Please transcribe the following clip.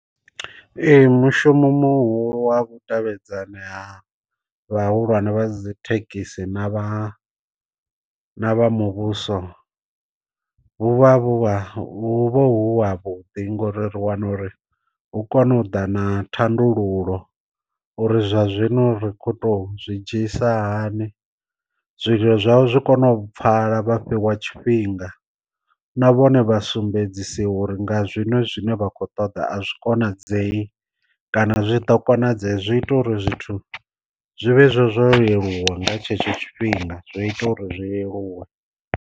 Ee mushumo muhulu wa vhu davhedzani ha vhahulwane vha dzi thekhisi na vha na vha muvhuso vhu vha vhu vha hu vha hu ha vhuḓi ngori ri wana uri hu kone u ḓa na thandululo uri zwa zwino ri kho to zwi dzhiisa hani, zwililo zwavho zwi kone u pfala vha fhiwa tshifhinga na vhone vha sumbedzisiwa uri nga zwino zwine vha kho ṱoḓa a zwi konadzei kana zwi ḓo konadzea, zwi ita uri zwithu zwi vhe hezwo zwo leluwa nga tshetsho tshifhinga zwi ita uri zwi leluwe.